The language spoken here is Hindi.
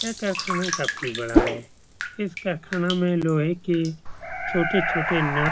यह कारखाना काफ़ी बड़ा है। इस कारखाना में लोहे की छोटी-छोटी नट --